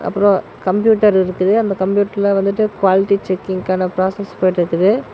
அப்றோ கம்ப்யூட்டர் இருக்குது அந்த கம்ப்யூட்டர்ல வந்துட்டு குவாலிட்டி செக்கிங்கான பிராசஸ் போயிட்டிருக்குது.